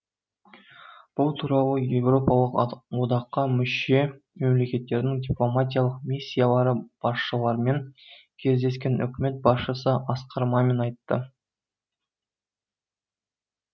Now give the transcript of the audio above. бұл туралы еуропалық одаққа мүше мемлекеттердің дипломатиялық миссиялары басшыларымен кездескен үкімет басшысы асқар мамин айтты